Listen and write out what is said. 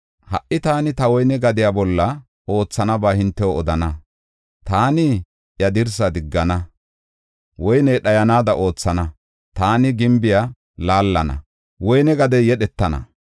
Ha77i taani ta woyne gadiya bolla oothanaba hintew odana. Taani iya dirsaa diggana; woyney dhayanaada oothana. Taani gimbiya laallana; woyne gadey yedhetana.